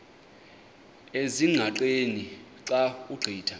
ezingqaqeni xa ugqitha